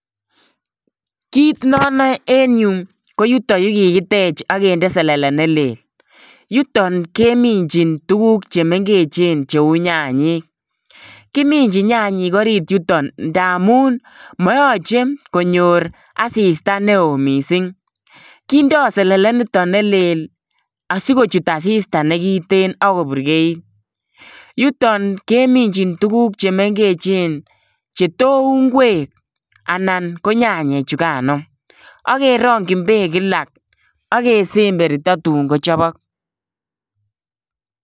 Kit ne anae ne yuu, ko yutoyu kikitech akinde selele ne lel. Yuton keminchin tuguk che mengechen cheu nyanyek. Kiminchin nyanyek orit yutok ndaamun mayanchen konyor asista ne oo missing. Kindoi selele niton ne lel, asikochut asista ne kitnt akoburgeit. Yuton keminchin tuguk che mengechen che tou ngwek anan ko nyanyek chukaan any. Akerongchin beek kila. Akesemberto tun kachobok.